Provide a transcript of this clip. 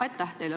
Aitäh teile!